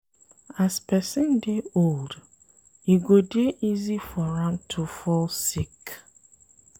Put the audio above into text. As person dey old, e go dey easy for am to fall sick